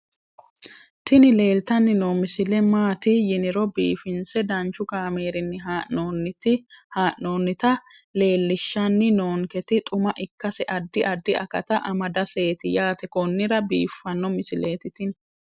tini leeltanni noo misile maaati yiniro biifinse danchu kaamerinni haa'noonnita leellishshanni nonketi xuma ikkase addi addi akata amadaseeti yaate konnira biiffanno misileeti tini